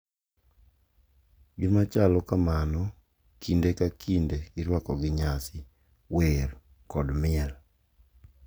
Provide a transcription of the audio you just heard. Gimachalo kamano kinde ka kinde irwako gi nyasi, wer, kod miel,